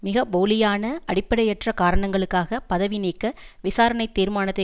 மிக போலியான அடிப்படையற்ற காரணங்களுக்காக பதவி நீக்க விசாரணை தீர்மானத்தை